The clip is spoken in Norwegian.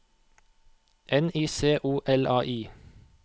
N I C O L A I